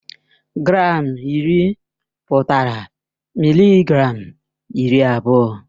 Gram iri pụtara mịlịgram iri abụọ.